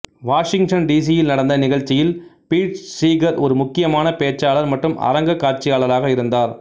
Washington டிசியில் நடந்த நிகழ்ச்சியில் பீட் சீகர் ஒரு முக்கியமான பேச்சாளர் மற்றும் அரங்க காட்சியாளராக இருந்தார்